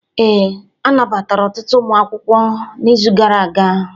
Ee, anabatara ọtụtụ ụmụ akwụkwọ n'izu gara aga.